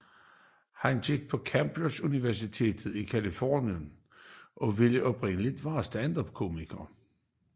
Han gik han på Chapman Universitet i Californien og ville oprindeligt være standupkomiker